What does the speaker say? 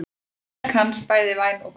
Verk hans bæði væn og góð.